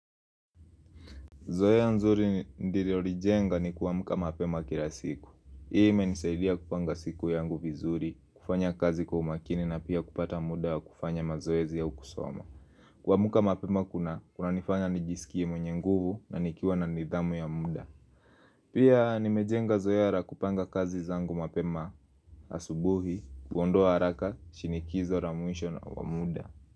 Zoea nzuri ndiri olijenga ni kuwamuka mapema kila siku. Ime nisailia kupanga siku yangu vizuri, kufanya kazi kwa umakini na pia kupata muda ya kufanya mazoezi ya ukusoma. Kuwamka mapema kuna, kuna nifanya nijisikie mwenye nguvu na nikiwa na nidhamu ya muda. Pia nimejenga Zoea lakupanga kazi zangu mapema asubuhi, kuondoa haraka, shinikizo na muisho na wamuda.